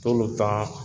T'olu ta